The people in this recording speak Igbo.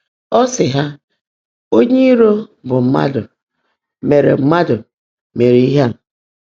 Ọ́ sị́ há, ‘Ónyé író, bụ́ mmádụ́, meèré mmádụ́, meèré íhe á.’